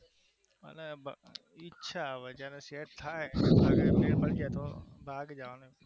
હા હવે ઈચ્છા હવે જયારે Set થાય ત્યારે જવાનું